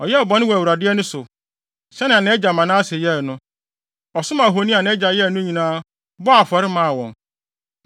Ɔyɛɛ bɔne wɔ Awurade ani so, sɛnea nʼagya Manase yɛe no. Ɔsom ahoni a nʼagya yɛe no nyinaa, bɔɔ afɔre maa wɔn.